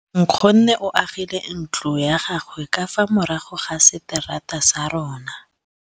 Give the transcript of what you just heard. Nkgonne o agile ntlo ya gagwe ka fa morago ga seterata sa rona.